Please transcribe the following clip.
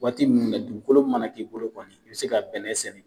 Waati minnu na dugukolo mana k'i bolo kɔni i bɛ se ka bɛnɛ sɛnɛ